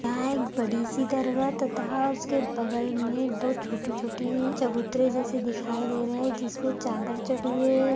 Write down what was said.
यहां एक बड़ी सी दरगाह तथा उसके बगल में दो छोटी छोटी चबूतरे जैसी दिखाई दे रहा है जिसपे चादर चढ़ी हुई है।